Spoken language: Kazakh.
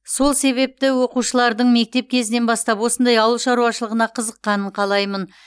сол себепті оқушылардың мектеп кезінен бастап осындай ауыл шаруашылығына қызыққанын қалаймын